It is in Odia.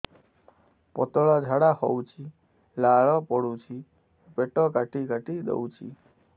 ପତଳା ଝାଡା ହଉଛି ଲାଳ ପଡୁଛି ପେଟ କାଟି କାଟି ଦଉଚି